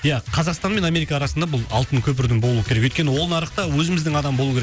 ия қазақстан мен америка арасында бұл алтын көпірдің болуы керек өйткені ол нарықта өзіміздің адам болуы керек